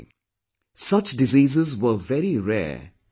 Such diseases were very rare in young people